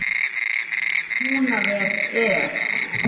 Húnaver er!